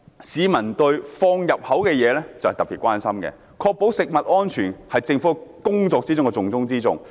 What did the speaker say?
市民對食用的東西特別關心，確保食品安全是政府工作的重中之重。